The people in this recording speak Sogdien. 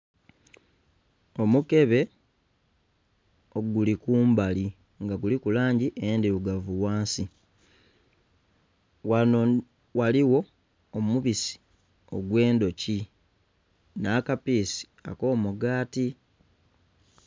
Omukebe oguli kumbali nga guliku langi endhirugavu ghansi. Ghano ghaligho omubisi ogw'endhuki n'akapiisi ak'omugaati.